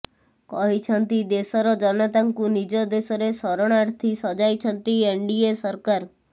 କହିଛନ୍ତି ଦେଶର ଜନତାଙ୍କୁ ନିଜ ଦେଶରେ ଶରଣାର୍ଥୀ ସଜାଇଛନ୍ତି ଏନଡିଏ ସରକାର